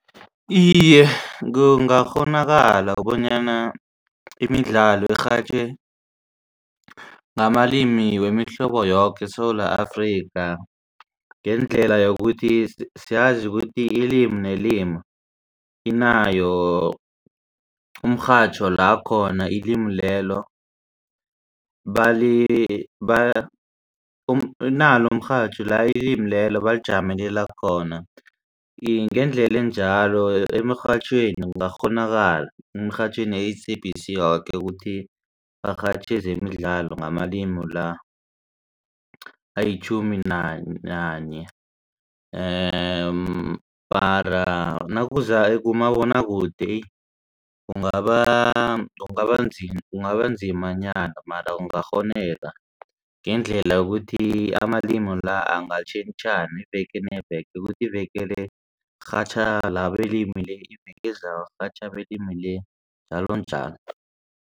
Iye, kungakghonakala bonyana imidlalo irhatjhwe ngamalimi wemihlobo yoke eSewula Afrika ngendlela yokuthi siyazi ukuthi ilimi nelimi inayo umrhatjho la khona ilimi lelo inalo umrhatjho la ilimi lelo balijamelela khona. Iye ngendlela njalo emirhatjhweni kungakghonakala emirhatjhweni S_A_B_C yoke kuthi barhatjhe zemidlalo ngamalimi la ayitjhumi nanye. Mara nakuza kumabonakude kungaba kungaba nzimanyana mara kungakghoneka ngendlela ukuthi amalimi la angatjhentjhena iveke neveke ukuthi ivekele kurhatjha belimi le iveke ezako kurhatjha belimi le njalonjalo.